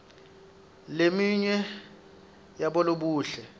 leminye yabolobuhle